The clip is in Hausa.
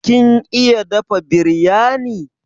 Kin iya dafa biryani?